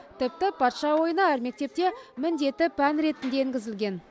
тіпті патша ойыны әр мектепте міндетті пән ретінде енгізілген